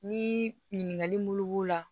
Ni ɲininkali bulu b'o la